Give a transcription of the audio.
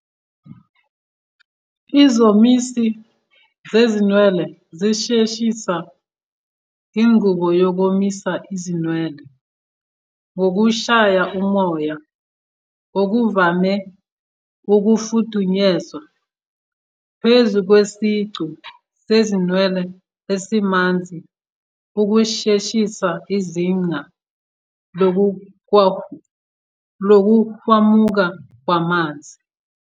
Izomisi zezinwele zisheshisa inqubo yokomisa izinwele ngokushaya umoya, okuvame ukufudunyezwa, phezu kwesiqu sezinwele esimanzi ukusheshisa izinga lokuhwamuka kwamanzi.